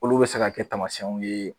Olu be se ka kɛ tamasiyɛnw ye